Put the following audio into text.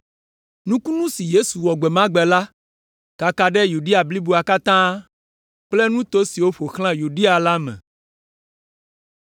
Nukunu si Yesu wɔ gbe ma gbe la kaka ɖe Yudea bliboa katã kple nuto siwo ƒo xlã Yudea la me.